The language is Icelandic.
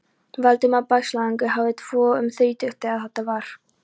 Valdimar Bægslagangur hafði tvo um þrítugt, þegar þetta var.